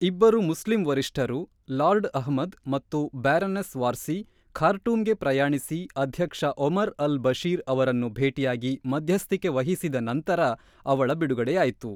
ಇಬ್ಬರು ಮುಸ್ಲಿಂ ವರಿಷ್ಠರು, ಲಾರ್ಡ್ ಅಹ್ಮದ್ ಮತ್ತು ಬ್ಯಾರನೆಸ್ ವಾರ್ಸಿ ಖಾರ್ಟೂಮ್‌ಗೆ ಪ್ರಯಾಣಿಸಿ ಅಧ್ಯಕ್ಷ ಒಮರ್ ಅಲ್-ಬಶೀರ್ ಅವರನ್ನು ಭೇಟಿಯಾಗಿ ಮಧ್ಯಸ್ಥಿಕೆ ವಹಿಸಿದ ನಂತರ ಅವಳ ಬಿಡುಗಡೆಯಾಯಿತು.